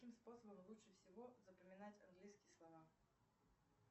каким способом лучше всего запоминать английские слова